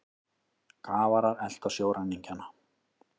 Kafarar elta sjóræningjana